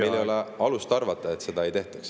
… ja meil ei ole alust arvata, et seda ei tehtaks.